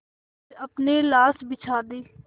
फिर अपनी लाश बिछा दी